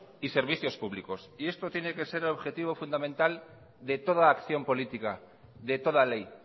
y servicios públicos y esto tiene que ser el objetivo fundamental de toda acción política de toda ley